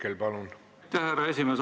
Aitäh, härra esimees!